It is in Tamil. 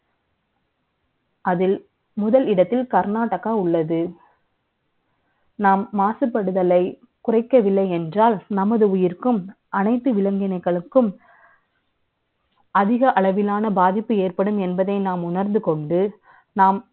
நாம் மாசுபடுதலை, குறை க்கவில்லை என்றால், நமது உயிருக்கும், அனை த்து விலங்கினங்களுக்கும் , அதிக அளவிலான பாதிப்பு ஏற்படும் என்பதை, நாம் உணர்ந்து க ொண்டு,